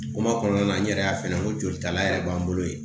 Kuma kɔnɔna na n yɛrɛ y'a f'i ɲɛna n ko jolita yɛrɛ b'an bolo yen